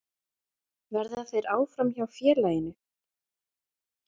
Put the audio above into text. Verða þeir áfram hjá félaginu?